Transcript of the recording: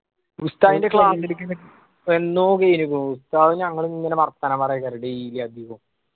ഉസ്താദിന്റെ വന്നൂ വരുന്നൂ ഉസ്താദ് ഞങ്ങളിങ്ങനെ വർത്താനം പറയാ daily അധീകൊം